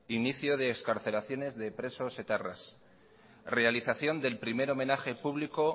inicio de excarcelaciones de presos etarras realización del primer homenaje público